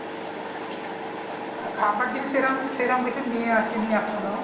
আহ খাবার জিনিস সেই রকম সেই রকম কিছু নিয়ে আসিনি এখনো